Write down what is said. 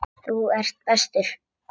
Þú ert bestur.